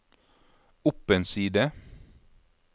opp en side